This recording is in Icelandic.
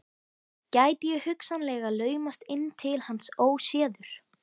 Gæti ég hugsanlega laumast inn til hans óséður?